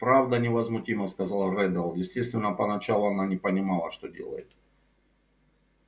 правда невозмутимо сказал реддл естественно поначалу она не понимала что делает